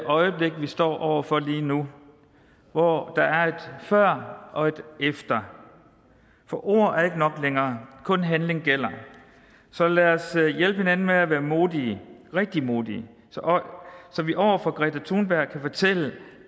øjeblik vi står over for lige nu hvor der er et før og et efter for ord er ikke nok længere kun handling gælder så lad os hjælpe hinanden med at være modige rigtig modige så vi over for greta thunberg kan fortælle